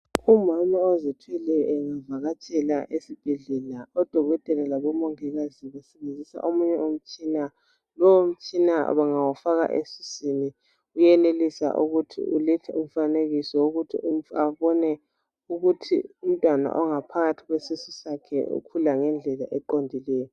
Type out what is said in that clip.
Umama ozithweleyo engavakatshela esibhedlela, odokotela labomongikazi basebenzisa omunye umtshina. Lowo mtshina bangawufaka esiswini uyenelisa ukuthi ulethe umfanekiso ukuthi abone ukuthi umntwana ongaphakathi kwesisu sakhe ukhula ngendlela eqondileyo.